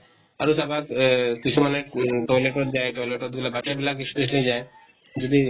আৰু চাবা এহ কিছুমানে toilet ত যায় , toilet ত গʼলে, বাচ্ছা বিলাক specially যায় । যদি